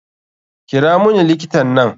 Kira muni likitan nan.